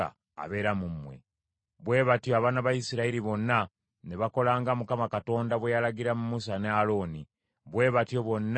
Bwe batyo abaana ba Isirayiri bonna ne bakola nga Mukama Katonda bwe yalagira Musa ne Alooni; bwe batyo bonna bwe baakola.